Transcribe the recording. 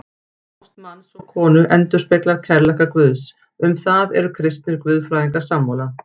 Ást manns og konu endurspeglar kærleika Guðs, um það eru kristnir guðfræðingar sammála.